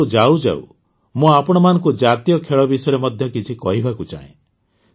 କିନ୍ତୁ ଯାଉଯାଉ ମୁଁ ଆପଣମାନଙ୍କୁ ଜାତୀୟ ଖେଳ ବିଷୟରେ ମଧ୍ୟ କିଛି କହିବାକୁ ଚାହେଁ